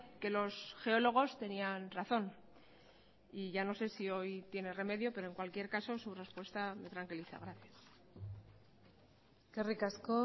que los geólogos tenían razón y ya no sé si hoy tiene remedio pero en cualquier caso su respuesta me tranquiliza gracias eskerrik asko